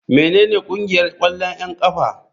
Menene ƙungiyar 'yan ƙwallon ƙafa?